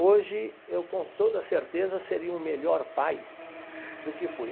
Hoje, eu com toda a certeza seria um melhor pai do que fui.